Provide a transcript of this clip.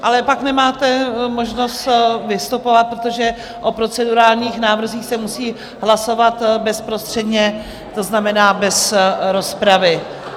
Ale pak nemáte možnost vystupovat, protože o procedurálních návrzích se musí hlasovat bezprostředně, to znamená bez rozpravy.